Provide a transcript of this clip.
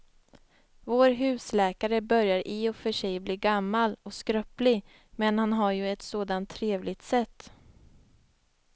Vår husläkare börjar i och för sig bli gammal och skröplig, men han har ju ett sådant trevligt sätt!